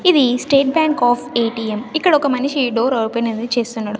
ఇది state bank of ATM ఇక్కడ ఒక మనిషి డోర్ ఓపెన్ అనేది చేస్తున్నాడు.